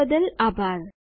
જોડાવા બદ્દલ આભાર